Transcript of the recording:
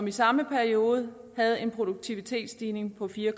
i samme periode havde en produktivitetsstigning på fire